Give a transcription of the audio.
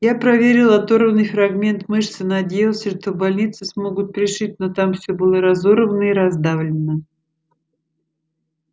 я проверил оторванный фрагмент мышцы надеялся что в больнице смогут пришить но там всё было разорвано и раздавлено